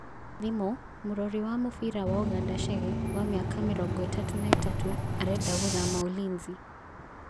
(Thimũ) Mũrorĩ wa mũbira wa Ũganda Chege, wa mĩaka mĩrongo ĩtatũ na ĩtatũ, arenda gũthama Ulinzi.